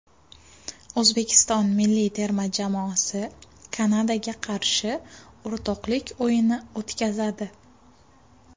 O‘zbekiston milliy terma jamoasi Kanadaga qarshi o‘rtoqlik o‘yini o‘tkazadi.